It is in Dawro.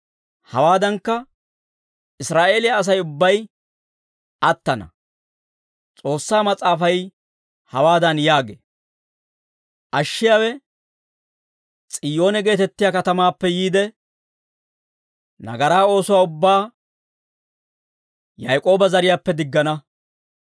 Hawaadankka, Israa'eeliyaa Asay ubbay attana; S'oossaa Mas'aafay hawaadan yaagee; «Ashshiyaawe S'iyoone geetettiyaa katamaappe yiide, nagaraa oosuwaa ubbaa Yaak'ooba zariyaappe diggana.